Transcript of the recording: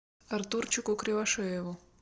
артурчику кривошееву